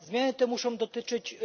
Zmiany te muszą dotyczyć